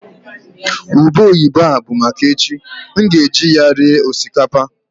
ube oyibo a bụ maka echi, m ga-eji ya rie osikapa